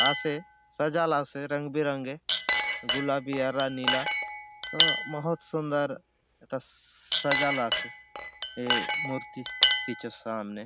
आसे सजाला से रंग बिरंगे गुलाबी हरा नीला तो बहोत सुंदर त सजाला से हे मूर्ति मूर्ति के सामने ।